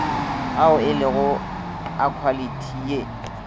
ao elego a khwalithi ye